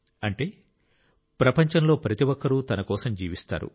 అంటే ప్రపంచంలో ప్రతి ఒక్కరూ తనకోసం జీవిస్తారు